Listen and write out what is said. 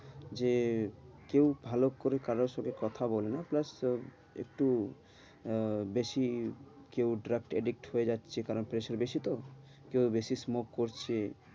যে কেউ ভালো করে কারোর সাথে কথা বলে না প্লাস তোর একটু আহ বেশি কেউ drug addict হয়ে যাচ্ছে কারণ pressure বেশি তো, কেউ বেশি smoke করছে